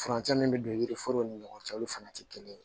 Furancɛ min bɛ don yiri forow ni ɲɔgɔn cɛ olu fana tɛ kelen ye